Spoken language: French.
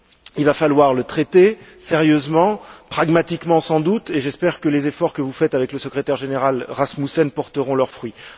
Il va falloir le traiter sérieusement, pragmatiquement sans doute, et j'espère que les efforts que vous faites avec le secrétaire général Rasmussen porteront leurs fruits.